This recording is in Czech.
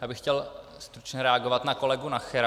Já bych chtěl stručně reagovat na kolegu Nachera.